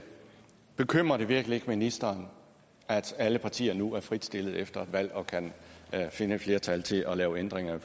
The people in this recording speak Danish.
bekymrer det virkelig ikke ministeren at alle partier nu er fritstillet efter et valg og kan finde et flertal til at lave ændringer af